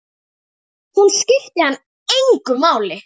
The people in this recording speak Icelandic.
Hún skipti hann engu máli.